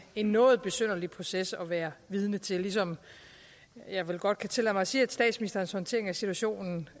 en noget besynderlig proces at være vidne til ligesom jeg vel godt kan tillade mig at sige at statsministerens håndtering af situationen